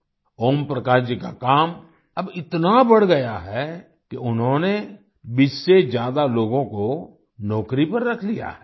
ओम प्रकाश जी का काम अब इतना बढ़ गया है कि उन्होंने 20 से ज्यादा लोगों को नौकरी पर रख लिया है